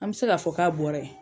An bɛ se k'a fɔ k'a bɔra yen.